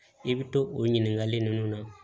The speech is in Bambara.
I bɛ to o ɲininkali ninnu na